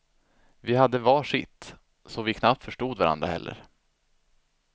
Vi hade var sitt, så vi knappt förstod varandra heller.